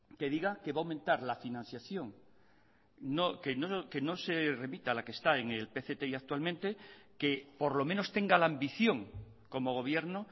que diga que va a aumentar la financiación que no se remita a la que está en el pcti actualmente que por lo menos tenga la ambición como gobierno